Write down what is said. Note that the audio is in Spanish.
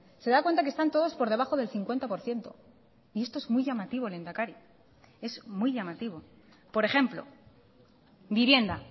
se da cuenta que están todos por debajo del cincuenta por ciento y esto es muy llamativo lehendakari es muy llamativo por ejemplo vivienda